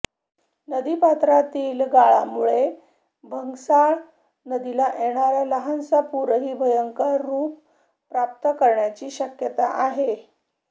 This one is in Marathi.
नदीपात्रातील गाळामुळे भंगसाळ नदीला येणारा लहानसा पूरही भयंकर रूप प्राप्त करण्याची शक्यता आहे